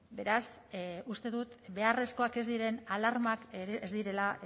beraz uste dut beharrezkoak ez diren alarmak ez direla